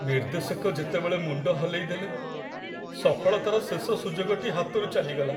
ନିର୍ଦ୍ଦେଶକ ଯେତେବେଳେ ମୁଣ୍ଡ ହଲେଇଦେଲେ, ସଫଳତାର ଶେଷ ସୁଯୋଗଟି ହାତରୁ ଚାଲିଗଲା।